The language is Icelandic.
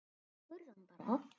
Spurðu hann bara.